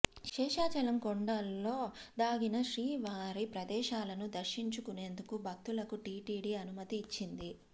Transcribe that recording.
శేషాచలం కొండల్లో దాగిన శ్రీవారి ప్రదేశాలను దర్శించుకునేందుకు భక్తులకు టీటీడీ అనుమతి ఇచ్చింది